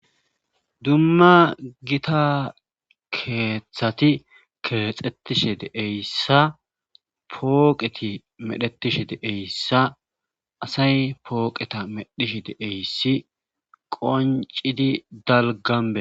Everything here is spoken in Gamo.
Dumma gita keeththati keexetishe deeyssa pooqeti medhetishe deeyssa asay pooqeta medhishe deeyssi qoncidi dalganbee